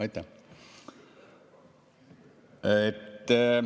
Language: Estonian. Aitäh!